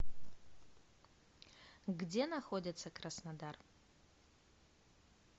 где находится краснодар